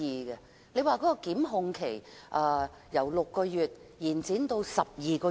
應否把檢控期限由6個月延長至12個月？